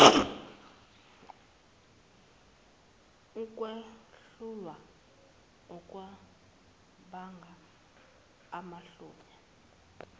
ukwehlulwa okubanga amahloni